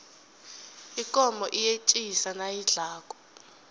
ikomo iyetjisa nayidlako